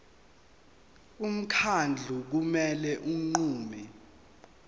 umkhandlu kumele unqume